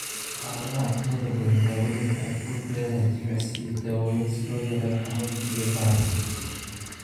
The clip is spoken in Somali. Xaaladaha intooda badan, daaweyntu waxay ku lug leedahay jimicsi iyo daawooyin si loo yareeyo xanuunka iyo bararka.